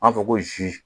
An b'a fɔ ko zi